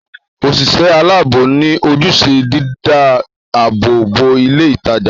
Òṣìṣẹ́ aláàbò ni ojúṣe dídá àbò bo ilé ìtajà